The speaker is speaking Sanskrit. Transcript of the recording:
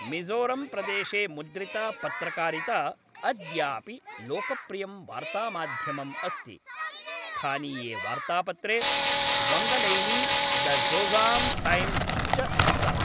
मिज़ोरम्प्रदेशे मुद्रिता पत्रकारिता अद्यापि लोकप्रियं वार्तामाध्यमम् अस्ति; स्थानीये वार्त्तापत्रे, वङ्गलैनी, द ज़ोजाम् टैम्स् च स्तः।